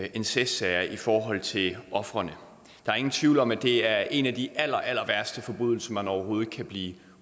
i incestsager i forhold til ofrene der er ingen tvivl om at det er en af de allerallerværste forbrydelser man overhovedet kan blive